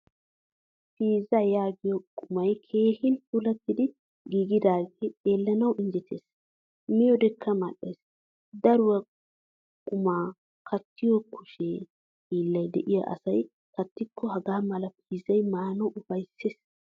Piizza yaagiyo qumay keehin puulattidi giigidage xeelanawu injjettees. Miyodekka mal'ees. Daruwaa quma kattiyo kushshe hilay deiyo asay katikko hagaamala pizzay maanawu ufayssees.